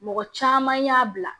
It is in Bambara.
Mɔgɔ caman y'a bila